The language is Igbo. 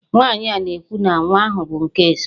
Nwaanyị a na-ekwu na nwa ahụ bụ nke Eze